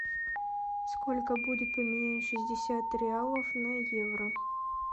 сколько будет поменять шестьдесят реалов на евро